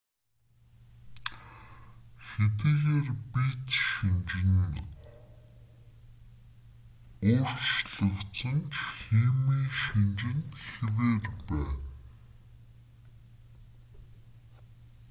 хэдийгээр бит шинж нь өөршлөгдсөн ч химийн шинж нь хэвээр байна